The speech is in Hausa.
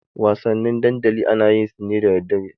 Wasanni dandali ana yin su ne da daddare.